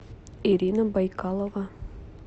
ирина байкалова